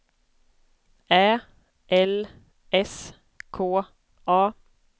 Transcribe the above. Ä L S K A